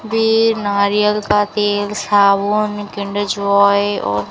वे नारियल का तेल साबुन किंडर जॉय और--